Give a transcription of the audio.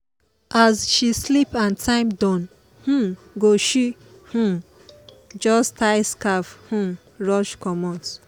as she sleep and time don um go she um just tie scarf um rush comot.